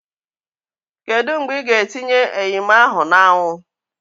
Kedu mgbe ị ga-etinye eyim ahu na awu?